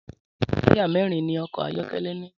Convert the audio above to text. Tàyá mẹrin ni ọkọ ayọkẹlẹ ni